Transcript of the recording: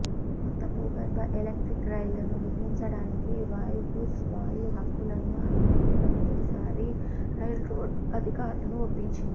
కొత్త భూగర్భ ఎలక్ట్రిక్ రైళ్లను నిర్మించడానికి వాయుగుస్ వాయు హక్కులను అమ్మే మొట్టమొదటిసారి రైల్రోడ్ అధికారులను ఒప్పించింది